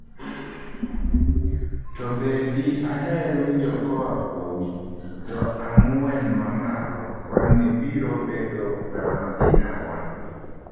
To be de aher winjo koaa kuomi, to 'ang'wen mamalo' wang'ni biro bedo ng'awa gi ng'awa?